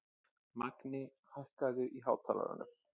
Magni, hækkaðu í hátalaranum.